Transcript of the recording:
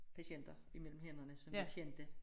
Patienter imellem hænderne som jeg kendte